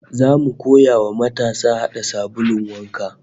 Zamu koya wa matasa hada sabulun wanka